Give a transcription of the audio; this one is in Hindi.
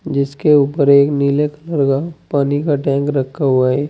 जिसके ऊपर एक नीले कलर का पानी का टैंक रखा हुआ है।